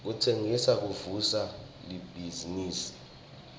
kutsengisa kuvusa libhizinifi